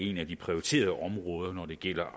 et af de prioriterede områder når det gælder